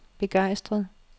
begejstret